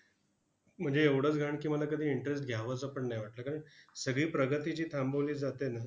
म्हणजे एवढंच घाण की, मला कधी interest घ्यावासा पण नाही वाटत. कारण सगळी प्रगती जी थांबवली जाते ना,